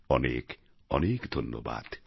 অনেক অনেক ধন্যবাদ